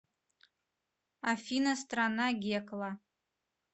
афина страна гекла